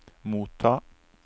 motta